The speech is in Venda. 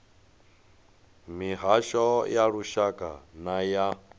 mihasho ya lushaka na ya